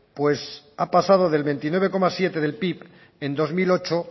pues ha pasado del veintinueve coma siete del pib en dos mil ocho